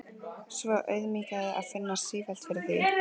Svo auðmýkjandi að finna sífellt fyrir því.